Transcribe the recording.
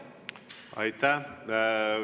Aitäh!